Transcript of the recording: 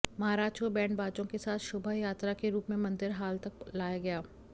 महाराज को बैंडबाजों के साथ शोभा यात्रा के रूप मे मंदिर हाल तक लाया गया